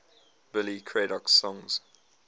billy craddock songs